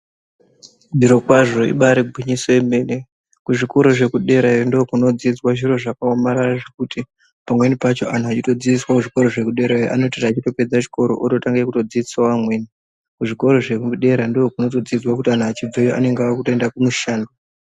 Zviro kwazvo ibari gwinyiso remene kuzvikora zvekudera iyo kunobadzidzwa zviro zvakaomarara zvekuti pamweni pacho antu achitodzidziswa kuzvikora iyoyo anoti achitopedza kudzidza otodzidzisawo. Amweni kuzvikora zvepadera ndokunodzidziswa kuti antu achibvayo anenge akuenda kumushando.